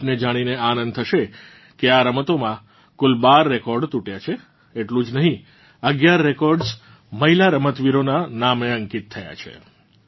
આપને જાણીને આંદન થશે કે આ રમતોમાં કુલ 12 રેકોર્ડ તૂટ્યાં છે એટલું જ નહીં 11 રેકોર્ડ્સ મહિલા રમતવીરોનાં નામે અંકિત થયાં છે